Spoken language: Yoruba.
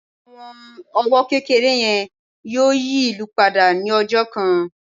àwọn owó kékeré yẹn yíò yí ìlú pada ni ọjọ kan